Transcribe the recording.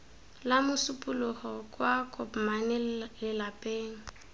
la mosupologo kwa kopmane lelapeng